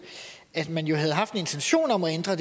at man havde haft en intention om at ændre